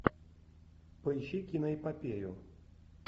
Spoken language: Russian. поищи киноэпопею